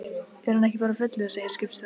Er hann ekki bara fullur, segir skipstjórinn.